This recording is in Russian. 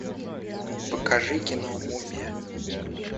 покажи кино мумия